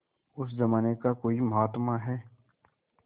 उस जमाने का कोई महात्मा है